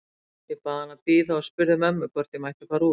Ég bað hann að bíða og spurði mömmu hvort ég mætti fara út.